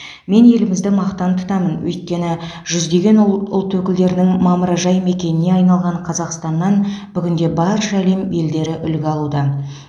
мен елімізді мақтан тұтамын өйткені жүздеген ұлт өкілдерінің мамыражай мекеніне айналған қазақстаннан бүгінде барша әлем елдері үлгі алуда